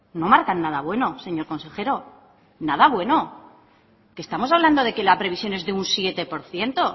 no marcan nada bueno señor consejero nada bueno que estamos hablando de que la previsión es de un siete por ciento